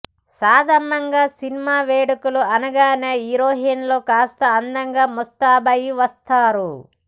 సాదారణంగా cinema వేడుకలు అనగానే హీరోయిన్లు కాస్త అందంగా ముస్తాబయి వస్తారు